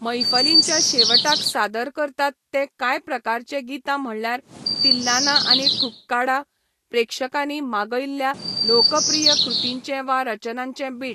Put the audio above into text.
मैफलींच्या शेवटाक सादर करतात ते कांय प्रकारचे गितां म्हळ्यार तिल्लाना आनी ठुक्काडा, प्रेक्षकांनी मागयल्ल्या लोकप्रिय कृतींचे वा रचनांचे बिट.